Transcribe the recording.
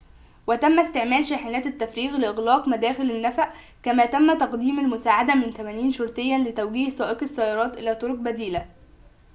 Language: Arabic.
وتم استعمال شاحنات التفريغ لإغلاق مداخل النفق كما تم تقديم المساعدة من 80 شرطياً لتوجيه سائقي السيارات إلى طرقٍ بديلة